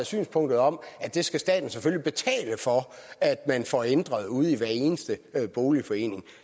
synspunkt om at det skal staten betale for at man får ændret ude i hver eneste boligforening